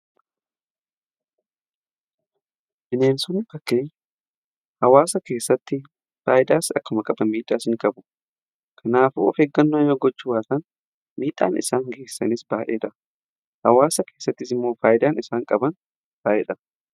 Bineensonni bakkee hawaasa keessatti faayidaas akkuma qaban miidhaas ni qabu. Kanaafuu of eeggannaa yoo gochuu baatan miidhaan isaan geessisanis baay'eedha. Hawaasa keessattis immoo faayidaan isaan qaban baay'eedha.